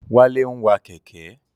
Wálé ń wa Kẹ̀kẹ́